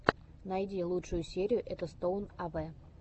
найди лучшую серию этостоун авэ